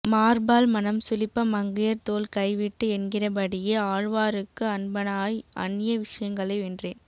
மாற்பால் மனம் சுளிப்ப மங்கையர் தோள் கை விட்டு என்கிறபடியே ஆழ்வாருக்கு அன்பனாய் அந்ய விஷயங்களை வென்றேன்